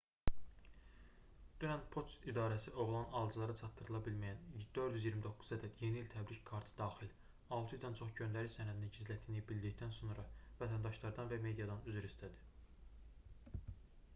dünən poçt idarəsi oğlanın alıcılara çatdırıla bilməyən 429 ədəd yeni i̇l təbrik kartı daxil 600-dən çox göndəriş sənədini gizlətdiyini bildikdən sonra vətəndaşlardan və mediadan üzr istədi